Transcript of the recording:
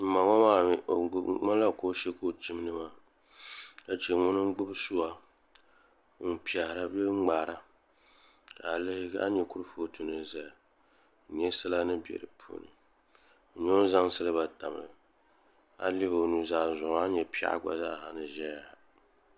N ma ŋo maa mii di ŋmanila kooshɛ ka o chimdi maa ka chɛ ŋuni n gbubi suwa n piɛhara bee n ŋmaara ka a lihi a ni nyɛ kurifooti ni ʒɛya n nyɛ sala ni bɛ di puuni n nyɛ o ni zaŋ silba tam a lihi o nuzaa zuɣu a ni nyɛ piɛɣu gba zaa ni ʒɛya